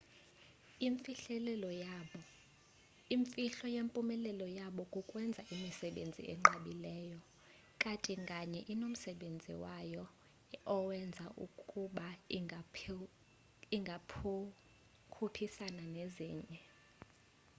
imifhlo yempumelelo yabo kukwenza imisebenzi enqabileyo kati nganye inomsebenzi wayo owenza ukuba ingakhuphisani nezinye